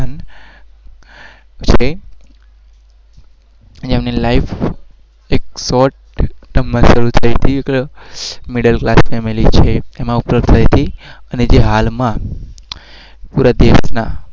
શરૂ ઠાઉ